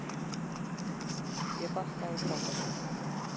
Ég bakkaði frá þessu.